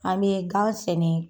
An bɛ gan sɛnɛ